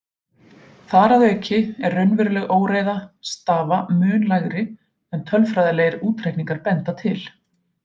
Þar að auki er raunveruleg óreiða stafa mun lægri en tölfræðilegir útreikningar benda til.